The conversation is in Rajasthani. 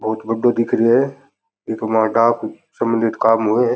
बहुत बड़ो दिख रो है इक माह डाक सम्बंधित काम होए।